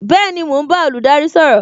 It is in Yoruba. Bẹẹni, mo ń bá olùdarí sọ̀rọ̀